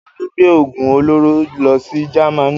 Tolú gbé òògùn olóró lọ sí Jamaní.